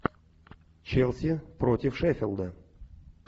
челси против шеффилда